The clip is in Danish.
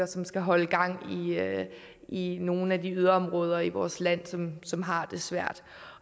som skal holde gang i nogle af de yderområder i vores land som som har det svært